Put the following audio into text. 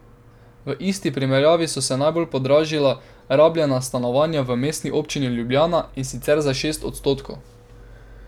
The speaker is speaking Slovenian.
V isti primerjavi so se najbolj podražila rabljena stanovanja v Mestni občini Ljubljana, in sicer za šest odstotkov.